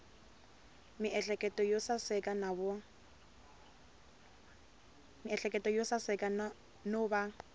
miehleketo yo saseka no va